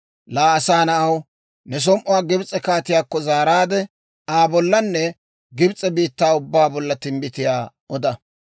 «Laa asaa na'aw, ne som"uwaa Gibs'e kaatiyaakko zaaraadde, Aa bollanne Gibs'e biittaa ubbaa bolla timbbitiyaa oda.